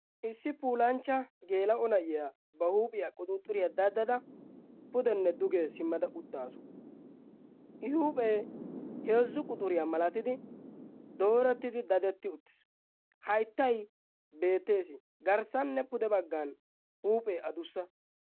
issi pulanchcha geela7o na7iyaa ba huuphiyaa quxuuxuriyaa daddada pudenne dugee simmada uttaasu. i huuphee heezzu quxuriyaa malatidi doorettidi dadetti uttis. hayttay beettees. garssanne pude baggan huuphee adussa.